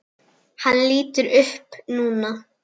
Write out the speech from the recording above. Hann lítur upp núna.